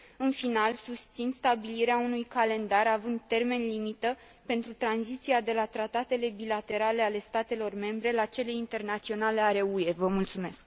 În final, susțin stabilirea unui calendar având termen limită pentru tranziția de la tratatele bilaterale ale statelor membre la cele internaționale ale UE.